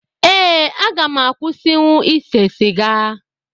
Ee, aga m akwụsịnwu ịse siga